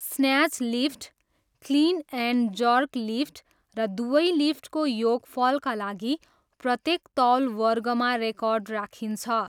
Snatch lift, clean and jerk lift र दुवै लिफ्टको योगफलका लागि प्रत्येक तौलवर्गमा रेकर्ड राखिन्छ।